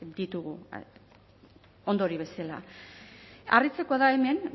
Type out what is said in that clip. ditugu ondorio bezala harritzekoa da hemen